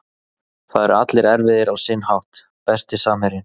Það eru allir erfiðir á sinn hátt Besti samherjinn?